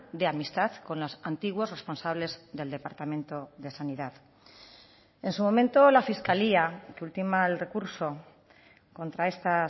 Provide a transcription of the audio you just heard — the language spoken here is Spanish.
de amistad con los antiguos responsables del departamento de sanidad en su momento la fiscalía que ultima el recurso contra esta